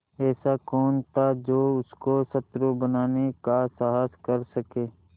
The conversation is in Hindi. ऐसा कौन था जो उसको शत्रु बनाने का साहस कर सके